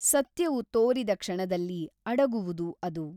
ಸತ್ಯವು ತೋರಿದ ಕ್ಷಣದಲ್ಲಿ ಅಡಗುವುದು ಅದು.